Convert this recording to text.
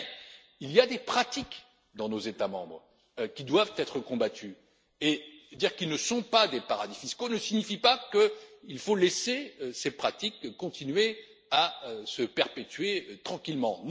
notre liste. Mais il y a des pratiques, dans nos États membres, qui doivent être combattues, et dire qu'ils ne sont pas des paradis fiscaux ne signifie pas qu'il faut laisser ces pratiques continuer à se perpétuer tranquillement.